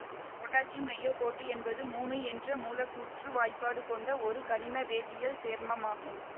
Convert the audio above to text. potassium niobate என்பது மூனு என்ற மூலக்கூற்று வாய்ப்பாடு கொண்ட ஒரு கனிம வேதியியல் சேர்மமாகும்